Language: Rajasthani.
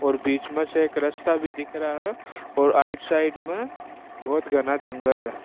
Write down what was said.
और बिच में से एक रास्ता दिख रे है और राइट साइड में बहुत घना जंगल है।